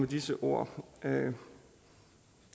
disse ord